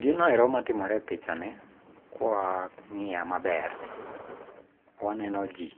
Ginoero matimore e pichani ka wang'iye maber, wanenoji.